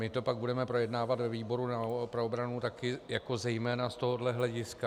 My to pak budeme projednávat ve výboru pro obranu taky jako zejména z tohohle hlediska.